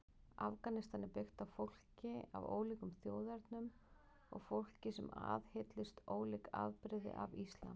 Afganistan er byggt fólki af ólíkum þjóðernum og fólki sem aðhyllist ólík afbrigði af islam.